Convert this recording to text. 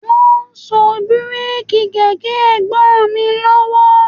Wọ́n ń so bíréèkì kẹ̀kẹ́ Ẹ̀gbọ́n mi lọ́wọ́